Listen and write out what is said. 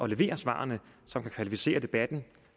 levere svarene som kan kvalificere debatten